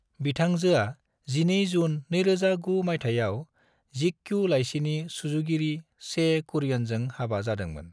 बिथांजोआ 12 जुन 2009 मायथायाव जीक्यू लायसिनि सुजुगिरि चे कुरियनजों हाबा जादोंमोन।